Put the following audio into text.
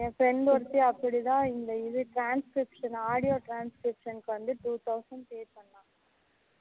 என் friend ஒருத்தி அப்படித்தான் இந்த இது transcription audio transcription வந்து two thousand pay பன்னா